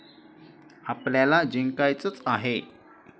आपल्याला जिंकायचंच आहे.